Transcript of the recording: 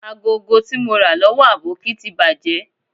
Agogo ti mo ra lowo Aboki ti baje